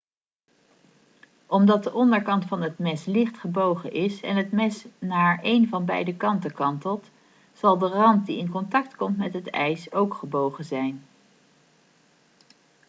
omdat de onderkant van het mes licht gebogen is en het mes naar een van beide kanten kantelt zal de rand die in contact komt met het ijs ook gebogen zijn